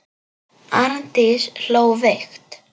Arndís hló veikt.